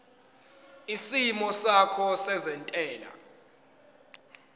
isimo sakho sezentela